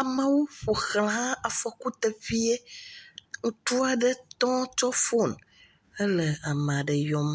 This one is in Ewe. Amewo ƒo ʋla afɔku teƒeɛ. Ŋutsua ɖe tɔ tsɔ fone hele ame aɖe yɔm.